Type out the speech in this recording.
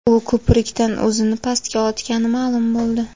U ko‘prikdan o‘zini pastga otgani ma’lum bo‘ldi.